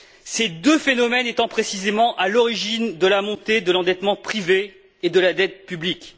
ces deux phénomènes étant précisément à l'origine de la montée de l'endettement privé et de la dette publique.